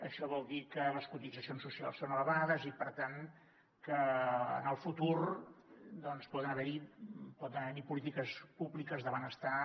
això vol dir que les cotitzacions socials són elevades i per tant que en el futur doncs poden haver hi polítiques públiques de benestar